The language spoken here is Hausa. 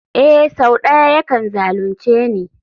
Ee sau da yawa yakan zalunce ni.